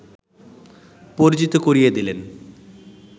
পরিচিত করিয়ে দিলেন